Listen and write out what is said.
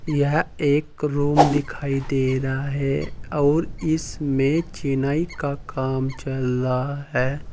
यह एक रूम दिखाई दे रहा है अउर इसमें चिनाई का काम चल रहा है।